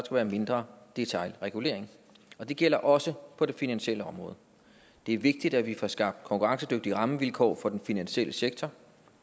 være mindre detailregulering og det gælder også på det finansielle område det er vigtigt at vi får skabt konkurrencedygtige rammevilkår for den finansielle sektor